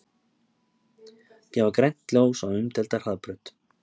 Gefa grænt ljós á umdeilda hraðbraut